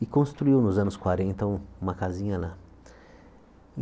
e construiu, nos anos quarenta, um uma casinha lá.